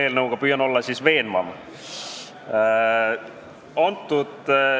Eks ma püüan selle eelnõuga veenvam olla.